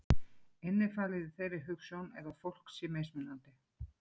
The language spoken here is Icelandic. Innifalið í þeirri hugsjón er að fólk sé mismunandi.